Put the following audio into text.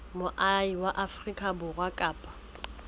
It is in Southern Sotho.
moahi wa afrika borwa kapa